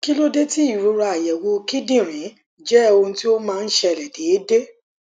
kí ló dé tí ìrora àyẹwò kíndìnrín jẹ ohun tí ó máa ń ṣẹlẹ déédéé